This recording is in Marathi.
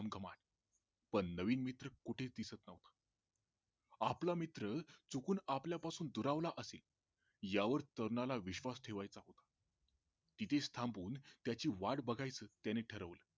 पण नवीन मित्र कुठेच दिसत नव्हता आपला मित्र चुकून आपल्या पासून दुरावला असेल या वर तरुणाला विश्वास ठेवायचा तिथेच थांबून त्याची वाट बघायची त्याने ठरवलं